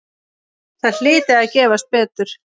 Það hlyti að gefast betur.